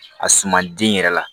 A suma den yɛrɛ la